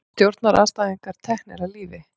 Stjórnarandstæðingar teknir af lífi